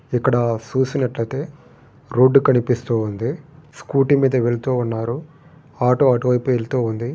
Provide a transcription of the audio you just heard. ఇక్కడ చూసినట్లయితే రోడ్డు కనిపిస్తున్నది. స్కూటీ మీద వెళ్తున్నారు. ఆటో అటువైపు వెళుతుంది.